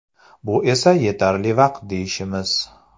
Bu esa yetarli vaqt deyishimiz.